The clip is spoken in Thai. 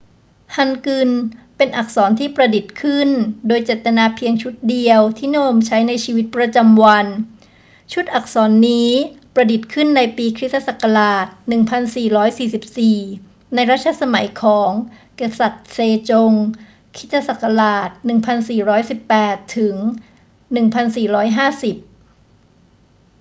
ฮันกึลเป็นอักษรที่ประดิษฐ์ขึ้นโดยเจตนาเพียงชุดเดียวที่นิยมใช้ในชีวิตประจำวัน ชุดอักษรนี้ประดิษฐ์ขึ้นในปีค.ศ. 1444 ในรัชสมัยของกษัตริย์เซจง ค.ศ. 1418 - 1450